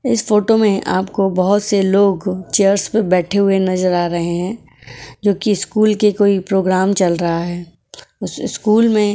इस फोटो में आपको बहुत से लोग चेयर्स पर बैठे हुए नजर आ रहे हैं जो की स्कूल के कोई प्रोग्राम चल रहा है उस स्कूल में --